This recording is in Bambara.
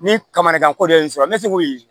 Ni kamera ko dɔ y'i sɔrɔ n bɛ se k'o ye